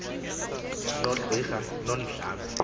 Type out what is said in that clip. no qika nondlambe